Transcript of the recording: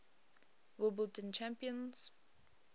wimbledon champions